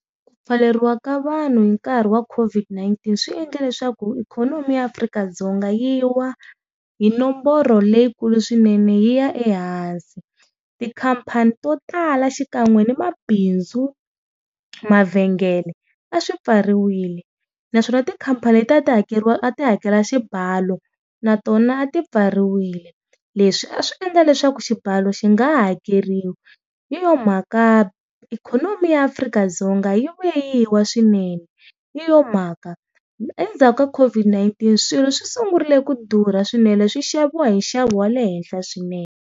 Ku pfaleriwa ka vanhu hi nkarhi wa COVID-19 swi endle leswaku ikhonomi ya Afrika-Dzonga yi wa hi nomboro leyikulu swinene yi ya ehansi. Tikhampani to tala xikan'we ni mabindzu, mavhengele a swi pfariwile naswona tikhampani letiya a ti hakeriwa a ti hakela xibalo na tona a ti pfariwile, leswi a swi endla leswaku xibalo xi nga hakeriwi hi yona mhaka ikhonomi ya Afrika-Dzonga yi vuye yi wa swinene hi yo mhaka endzhaku ka COVID-19 swilo swi sungurile ku durha swinene swi xaviwa hi nxavo wa le henhla swinene.